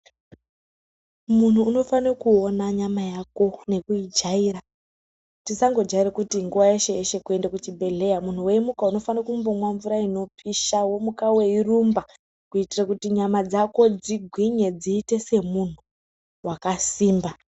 Munhu unofana kuona nyama Yako nekuijaira tisangajaira kuti nguwa yeshe yeshe toenda kuchibhedhlera muntu weimuka unofana kumbomwa mvura inopisha womuka weirumba kuitira kuti nyama dzako dzigwinye dziite semunhu akasimba.